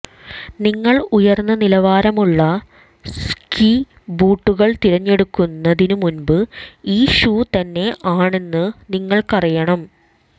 നിങ്ങൾ ഉയർന്ന നിലവാരമുള്ള സ്കീ ബൂട്ടുകൾ തിരഞ്ഞെടുക്കുന്നതിനു മുമ്പ് ഈ ഷൂ തന്നെ ആണെന്ന് നിങ്ങൾക്കറിയണം